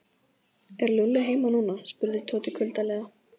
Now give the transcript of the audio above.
Er Lúlli heima núna? spurði Tóti kuldalega.